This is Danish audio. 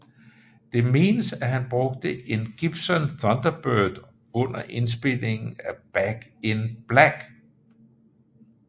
Det menes at han brugte en Gibson Thunderbird under indspilningen af Back in Black